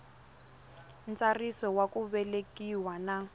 ntsariso wa ku velekiwa na